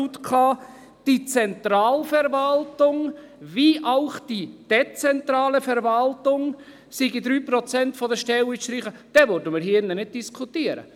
«Die Zentralverwaltung wie auch die dezentrale Verwaltung», dort seien 3 Prozent der Stellen zu streichen – dann würden wir hier nicht diskutieren.